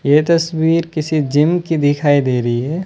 ये तस्वीर किसी जिम की दिखाई दे रही है।